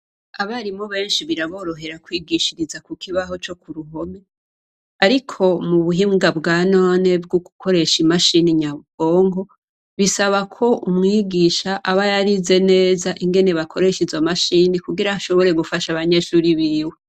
Abarimu benshi biraborohera kwigishiriza kukibaho cokuruhome ariko mubuhinga bwanone bwogukoresha imashini nyabwonko bisabako umwigisha abayarize neza ingene bakoresha izomashine kugira ashobore gufasha abanyeshure biwe